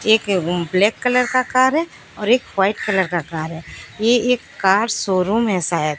एक black colour का car है एक वाइट कलर का कार है यह एक कार शोरूम है शायद।